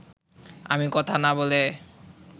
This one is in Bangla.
আমি কথা না বলে